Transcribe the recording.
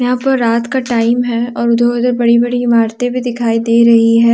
यहां पर रात का टाइम है और बड़ी बड़ी इमारतें भी दिखाई दे रही है।